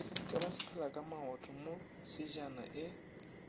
ke basepelakamaoto mo tsejana e